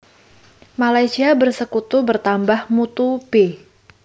Malaysia Bersekutu Bertambah Mutu b